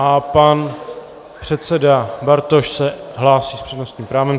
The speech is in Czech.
A pan předseda Bartoš se hlásí s přednostním právem.